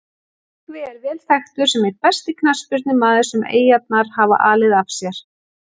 Tryggvi er vel þekktur sem einn besti knattspyrnumaður sem Eyjarnar hafa alið af sér.